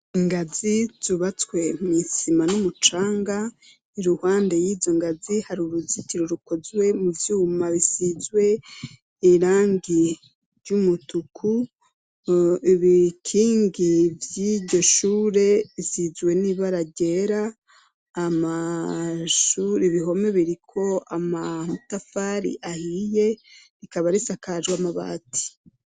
ingazi zubatswe mw' isima n'umucanga iruhande y'izo ngazi hari uruzitiro rukozwe mu vyuma bisizwe irangi ry'umutuku ibikingi bwiryo shure bisizwe n'ibara ryera amashurz ibihome biriko amatafari ahiye rikaba risakajwe amabati